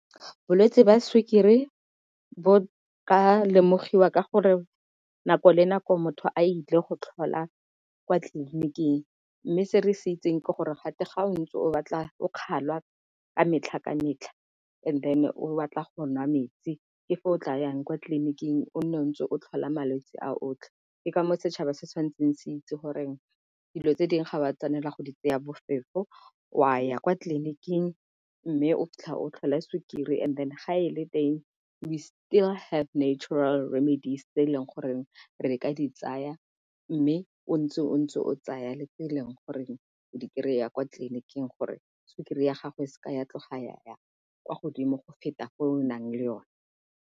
Bolwetsi jwa sukiri bo ka lemogiwa ka gore nako le nako motho a ile go tlhola kwa tleliniking, mme se re se itseng ke gore gate ga o ntse o batla o kgaolwa ka metlha ka metlha and then o batla go nwa metsi ke fa o tla yang kwa tleliniking o nne o ntse o tlhola malwetsi a otlhe. Ke ka moo setšhaba se tshwanetseng se itse goreng dilo tse dingwe ga o a tshwanela go di tseya bofefo o a ya kwa mme o tla o tlhola sukiri and then ga e le teng we still have natural remedies tse e leng gore re ka di tsaya. Mme o ntse o ntse o tsaya le tse e leng gore o di kry-a kwa tleliniking gore sukiri ya gago e seka ya tloga ya yang kwa godimo go feta o nang le yone.